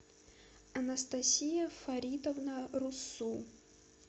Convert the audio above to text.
анастасия фаридовна руссу